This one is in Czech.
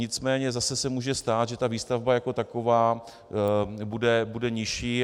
Nicméně zase se může stát, že ta výstavba jako taková bude nižší.